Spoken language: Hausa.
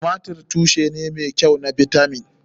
Tumatir tushe ne mai kyau na bitamin.